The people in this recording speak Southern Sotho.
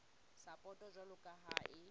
sapoto jwalo ka ha e